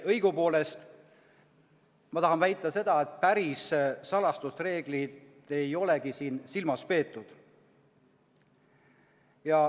Õigupoolest ma tahan väita seda, et päris salastusreeglit ei olegi siin silmas peetud.